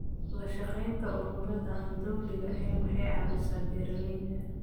La shaqaynta ururada aan dawliga ahayn waxay caawisaa beeralayda.